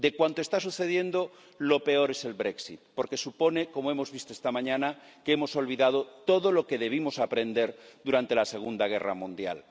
De cuanto está sucediendo lo peor es el Brexit porque supone, como hemos visto esta mañana, que hemos olvidado todo lo que debimos aprender durante la Segunda Guerra Mundial.